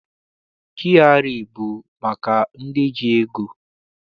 GRA abụ maka ndị ji ego?